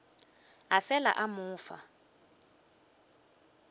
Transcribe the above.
a fela a mo fa